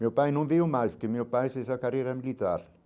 Meu pai não veio mais, porque meu pai fez a carreira militar.